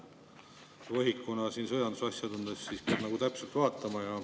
Võhikuna siin sõjandusasjades peab täpselt vaatama.